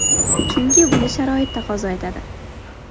Chunki buni sharoit taqozo etadi.